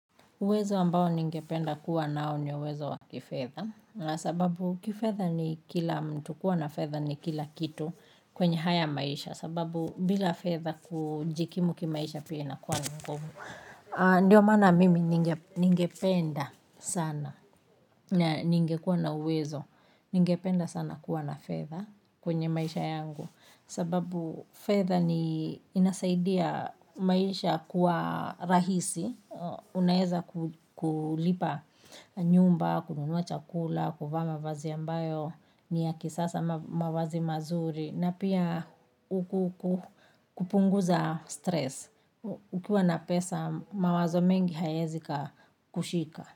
Uwezo ambao ningependa kuwa nao ni uwezo wa kifedha. Sababu kifedha ni kila mtu kuwa na fedha ni kila kitu kwenye haya maisha. Sababu bila fedha kujikimu kimaisha pia inakuwa ni ngumu. Ndiyo mana mimi ningependa sana. Ningekuwa na uwezo. Ningependa sana kuwa na fezha kwenye maisha yangu. Sababu fedha ni inasaidia maisha kuwa rahisi. Unaeza kulipa nyumba, kununua chakula, kuvaa mavazi mbayo, niya kisasa mavazi mazuri na pia kuku kupunguza stress. Ukiwa na pesa mawazo mengi hayaezi kakushika.